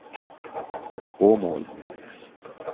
Åmål